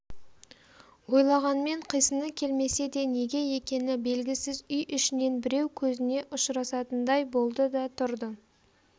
ойлағанмен қисыны келмесе де неге екені белгісіз үй ішінен біреу көзіне ұшырасатындай болды да тұрды